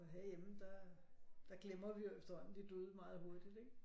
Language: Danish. Og herhjemme der der glemmer vi jo efterhånden de døde meget hurtigt ikke